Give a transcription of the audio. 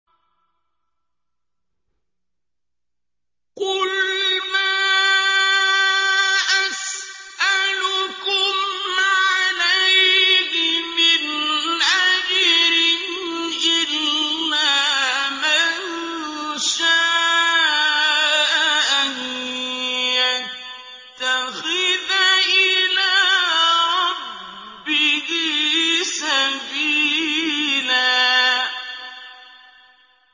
قُلْ مَا أَسْأَلُكُمْ عَلَيْهِ مِنْ أَجْرٍ إِلَّا مَن شَاءَ أَن يَتَّخِذَ إِلَىٰ رَبِّهِ سَبِيلًا